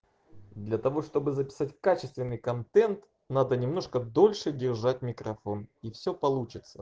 для того чтобы записать качественный контент надо немножко дольше держать микрофон и все получится